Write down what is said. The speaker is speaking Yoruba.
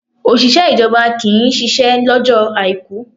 Òṣìṣẹ́ ìjọba kì ń ṣisẹ́ lọ́jọ́ Àìkú.